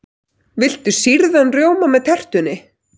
Viltu sýrðan rjóma með tertunni?